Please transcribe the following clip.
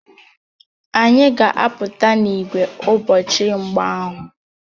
Anyị ga-apụta n'ìgwè ụbọchị mgba ahụ